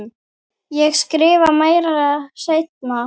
Ég skrifa meira seinna.